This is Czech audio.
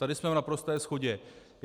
Tady jsme v naprosté shodě.